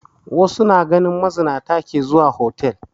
Wasu na ganin mazinata ke zuwa hotal